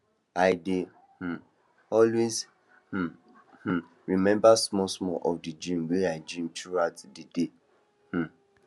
i dey um always um um remember small small of the dream wey i dream throughout the day um